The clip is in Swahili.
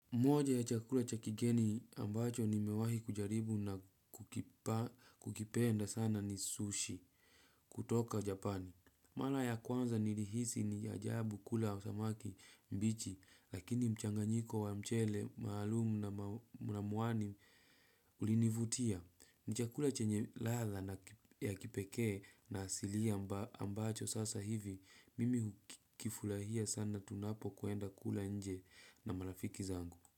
Moja ya chakula cha kigeni ambacho nimewahi kujaribu na kukipenda sana ni sushi kutoka japani. Mara ya kwanza ni mlihisi ni ajabu kula samaki mbichi lakini mchanganyiko wa mchele maalumu na mwani ulinivutia. Ni chakula chenye ladha na ya kipekee na asilia ambacho sasa hivi mimi hukifurahia sana tunapo kuenda kula nje na marafiki zangu.